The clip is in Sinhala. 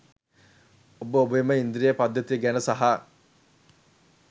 ඔබ ඔබේම ඉන්ද්‍රිය පද්ධතිය ගැන සහ